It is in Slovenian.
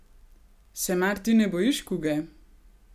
Se mar ti ne bojiš kuge?